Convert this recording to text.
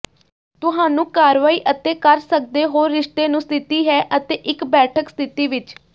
ਤੁਹਾਨੂੰ ਕਾਰਵਾਈ ਅਤੇ ਕਰ ਸਕਦੇ ਹੋ ਰਿਸ਼ਤੇ ਨੂੰ ਸਥਿਤੀ ਹੈ ਅਤੇ ਇੱਕ ਬੈਠਕ ਸਥਿਤੀ ਵਿਚ